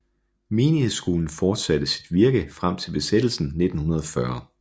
Menighedsskolen fortsatte sit virke frem til besættelsen 1940